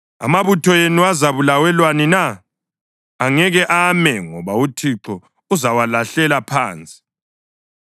Amabutho enu azabulawelwani na? Angeke ame, ngoba uThixo uzawalahlela phansi.